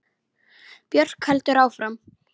Björk heldur áfram.